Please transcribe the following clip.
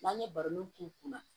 N'an ye baroniw k'u kunna